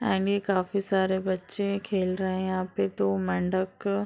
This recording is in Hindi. काफी सारे बच्चे खेल रहे है यहाँ पे तो मंडप के --